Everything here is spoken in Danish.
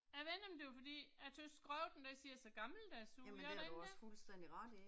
Jeg ved ikke om det er fordi, jeg tøvs skriften den ser så gammeldags ud, gør den ikke det?